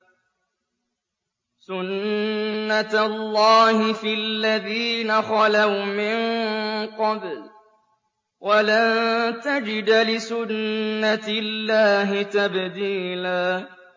سُنَّةَ اللَّهِ فِي الَّذِينَ خَلَوْا مِن قَبْلُ ۖ وَلَن تَجِدَ لِسُنَّةِ اللَّهِ تَبْدِيلًا